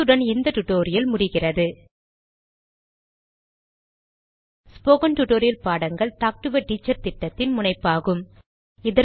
இத்துடன் இந்த டுடோரியல் முடிவுக்கிறது ஸ்போகன் டுடோரியல் பாடங்கள் டாக்டு எ டீச்சர் திட்டத்தின் முனைப்பாகும்